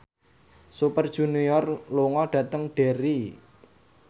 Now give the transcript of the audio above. Super Junior lunga dhateng Derry